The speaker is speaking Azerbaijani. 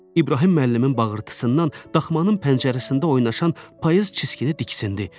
İbrahim müəllimin bağırtısından daxmanın pəncərəsində oynaşan payız çiskinə diksindi.